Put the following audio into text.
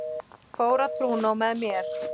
Fór á trúnó með mér.